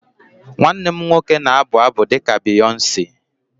Nwanne m nwoke na-abụ abụ dị ka Beyonce